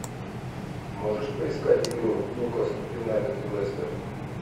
можешь поискать игру ньюкасл юнайтед и лестер